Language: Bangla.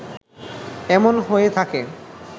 এমন হয়ে থাকে